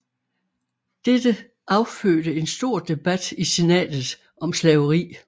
Dette affødte en stor debat i senatet om slaveri